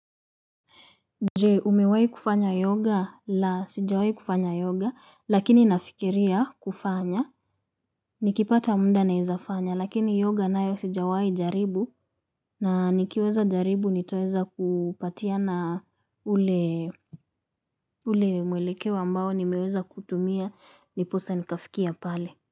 Je umewahi kufanya yoga la sijawahi kufanya yoga lakini nafikiria kufanya. Nikipata muda naweza fanya lakini yoga nayo sijawahi jaribu na nikiweza jaribu nitaweza kupatia na ule. Ule mwelekeo ambao nimeweza kutumia ndiposa nikafikia pale.